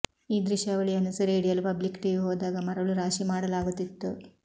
ಈ ದೃಶ್ಯಾವಳಿಯನ್ನು ಸೆರೆ ಹಿಡಿಯಲು ಪಬ್ಲಿಕ್ ಟಿವಿ ಹೋದಾಗ ಮರಳು ರಾಶಿ ಮಾಡಲಾಗುತ್ತಿತ್ತು